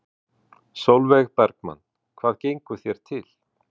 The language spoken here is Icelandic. Sólveig Bergmann: Hvað gengur þér til?